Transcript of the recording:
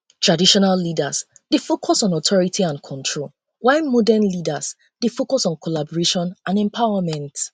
traditional leaders dey focus on authority and control control while modern leaders dey focus on collaboration and empowerment